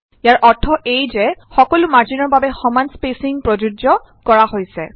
ইয়াৰ অৰ্থ এয়ে যে সকলো মাৰ্জিনৰ বাবে সমান স্পেচিং প্ৰযোজ্য কৰা হৈছে